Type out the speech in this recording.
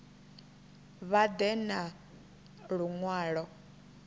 vha ḓe na lu ṅwalo